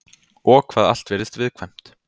Og hvað allt virðist viðkvæmt.